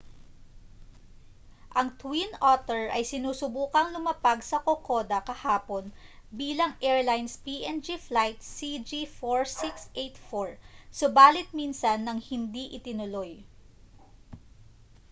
ang twin otter ay sinusubukang lumapag sa kokoda kahapon bilang airlines png flight cg4684 subalit minsan nang hindi itinuloy